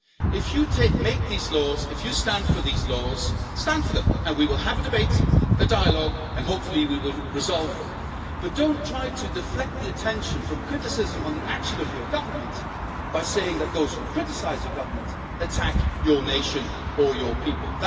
If you make these laws and if you stand for these laws, stand for them, and we will have a debate and dialogue and hopefully we will resolve them, but don't try to deflect attention from criticism about the actions of your Government by saying that those who criticise the Government attack your nation or your people.